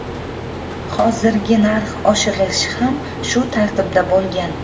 Hozirgi narx oshirilishi ham shu tartibda bo‘lgan.